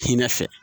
Hinɛ fɛ